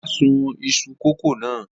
Ọlá sun iṣu kòkó náà?